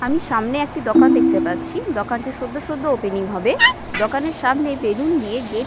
আমি সামনে একটি দোকান দেখতে পাচ্ছি | দোকানটি সদ্য সদ্য ওপেনিং হবে | দোকানের সামনে বেলুন দিয়ে গেট --